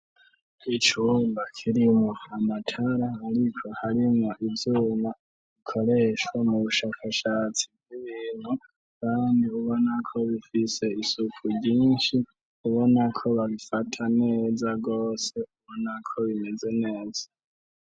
Icumba kirimwo amatara ariko harimwo ivyuma bikoreshwa mu bushakashatsi bw'ibintu kandi ubona ko bifise isuku ryinshi ubona ko babifata neza rwose ubona ko bimeze neza